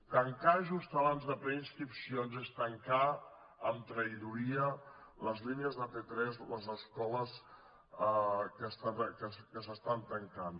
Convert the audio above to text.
tancar just abans de preinscripcions és tancar amb traïdoria les línies de p3 les escoles que es tanquen